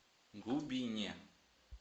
губине